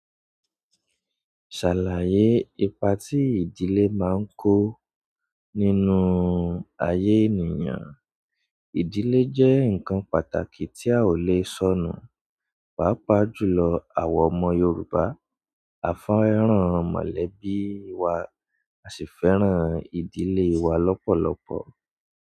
Ṣàlàyé ipa tí ìdílé máa ń kó nínú ayé ènìyàn. Ìdílé jẹ́ ǹkan pàtàkì tí a ò lè sọ̀nù. Pàápàá jùlọ àwa ọmọ Yorùbá, a fẹ́ràn mọ̀lẹ́bí wa, a sì fẹ́ràn ìdílé wa lọ́pọ̀lọpọ̀.